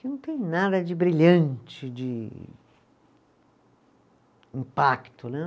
que não tem nada de brilhante, de impacto, né?